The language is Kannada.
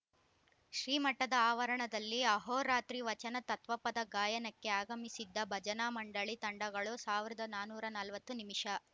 ಶ್ರೀಮಠದ ಆವರಣದಲ್ಲಿ ಅಹೋರಾತ್ರಿ ವಚನ ತತ್ವಪದ ಗಾಯನಕ್ಕೆ ಆಗಮಿಸಿದ್ದ ಭಜನಾ ಮಂಡಳಿ ತಂಡಗಳು ಸಾವಿರದ ನಾನೂರ ನಲವತ್ತು ನಿಮಿಷ